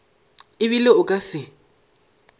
e bile o ka se